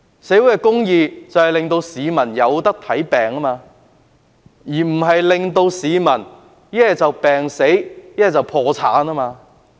所謂社會公義，就是令市民可以求醫，而不是令市民不是病死，就是破產。